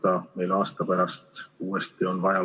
Kultuurikomisjon käsitles seda eelnõu teisipäeval, 16. märtsil.